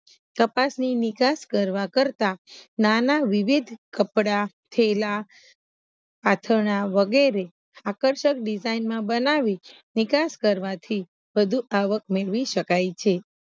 કપાસની નિકાસ કરવા કરતા નાના વિવિધ કપડા થેલા વગેરે આકર્સક ડીસાઈન માં બનાવી નિકાસ કરવાથી વધુ આવક મેળવી શક્ય છે